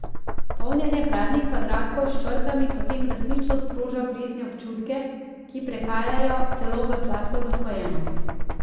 Polnjenje praznih kvadratkov s črkami potem resnično sproža prijetne občutke, ki prehajajo celo v sladko zasvojenost.